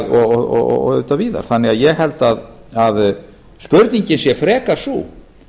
og auðvitað víðar ég held því að spurningin sé frekar sú